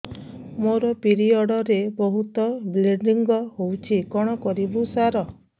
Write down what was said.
ମୋର ପିରିଅଡ଼ ରେ ବହୁତ ବ୍ଲିଡ଼ିଙ୍ଗ ହଉଚି କଣ କରିବୁ ସାର